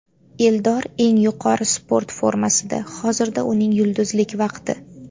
Eldor eng yuqori sport formasida, hozirda uning yulduzlik vaqti.